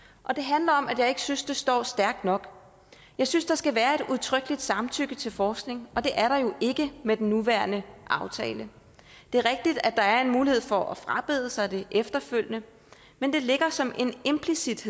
og det handler om at jeg ikke synes det står stærkt nok jeg synes der skal være et udtrykkeligt samtykke til forskning og det er der jo ikke med den nuværende aftale det er rigtigt at der er en mulighed for at frabede sig det efterfølgende men det ligger som noget implicit